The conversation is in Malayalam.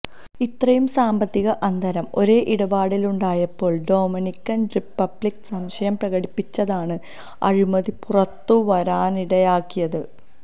ഇത്രയും സാമ്പത്തിക അന്തരം ഒരേ ഇടപാടിലുണ്ടായപ്പോള് ഡൊമനിക്കന് റിപ്പബ്ലിക്ക് സംശയം പ്രകടിപ്പിച്ചതാണ് അഴിമതി പുറത്തുവരാനിടയാക്കിയത്